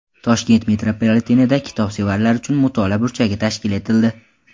Toshkent metropolitenida kitobsevarlar uchun mutolaa burchagi tashkil etildi.